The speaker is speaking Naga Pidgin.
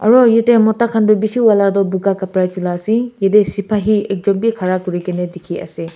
aru yate mota khan tu bishi wala tu boga kapra chola ase yate sipahi ekjon bhi khara kuri ke na dikhi ase.